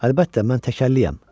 Əlbəttə, mən təkərliyəm.